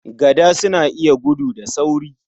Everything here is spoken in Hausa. Gada suna iya gudu da sauri sosai.